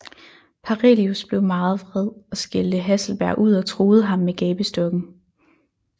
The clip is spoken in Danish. Parelius blev meget vred og skældte Hasselberg ud og truede ham med gabestokken